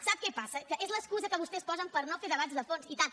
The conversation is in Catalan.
sap què passa que és l’excusa que vostès posen per no fer debats de fons i tant